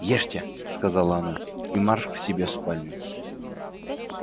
ешьте сказала она и марш к себе в спальню